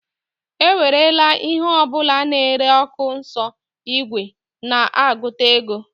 ewerela ihe ọ bụla na-ere ọkụ nso igwe na-agụta ego